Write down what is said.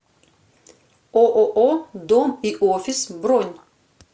ооо дом и офис бронь